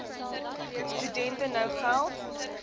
studente nou geld